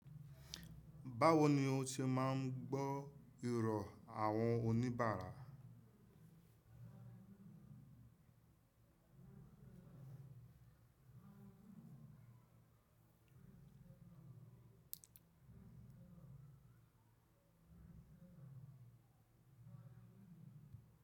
Báwo ni ó ṣe máa ń gbọ́ irọ̀ àwọn oníbàárà?